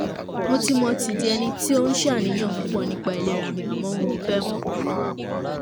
mo ti mo ti di ẹni tó ń ṣaàníyàn púpọ̀ nípa ìlera mi àmọ́ mo fẹ́ mọ̀